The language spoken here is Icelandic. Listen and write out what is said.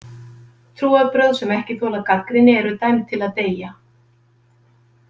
Trúarbrögð sem ekki þola gagnrýni eru dæmd til að deyja.